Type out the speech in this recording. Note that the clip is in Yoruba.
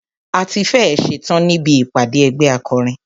A tí fẹ́ ẹ̀ ṣetán níbi ìpàdé ẹgbẹ́ akọrin.